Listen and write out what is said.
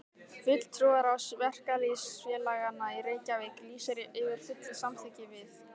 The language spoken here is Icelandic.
FULLTRÚARÁÐS VERKALÝÐSFÉLAGANNA Í REYKJAVÍK LÝSIR YFIR FULLU SAMÞYKKI VIÐ